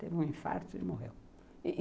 Teve um infarto e morreu.